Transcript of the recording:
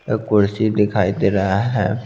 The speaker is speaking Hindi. एक कुर्सी दिखाई दे रहा है।